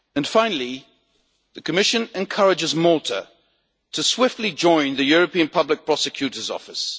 Finally, the Commission encourages Malta to swiftly join the European Public Prosecutor's Office.